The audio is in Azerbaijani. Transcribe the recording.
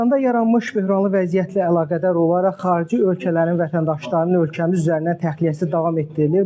İranda yaranmış böhranlı vəziyyətlə əlaqədar olaraq xarici ölkələrin vətəndaşlarının ölkəmiz üzərindən təxliyəsi davam etdirilir.